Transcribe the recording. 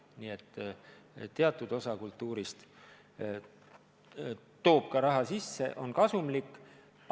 Nii et teatud osa kultuurist toob ka raha sisse, on kasumlik.